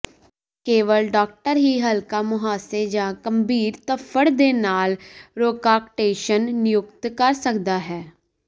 ਕੇਵਲ ਡਾਕਟਰ ਹੀ ਹਲਕਾ ਮੁਹਾਸੇ ਜਾਂ ਗੰਭੀਰ ਧੱਫੜ ਦੇ ਨਾਲ ਰੋਕਾਕਟੇਸ਼ਨ ਨਿਯੁਕਤ ਕਰ ਸਕਦਾ ਹੈ